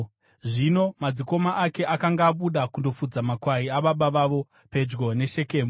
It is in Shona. Zvino madzikoma ake akanga abuda kundofudza makwai ababa vavo pedyo neShekemu,